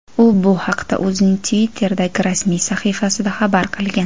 U bu haqda o‘zining Twitter’dagi rasmiy sahifasida xabar qilgan.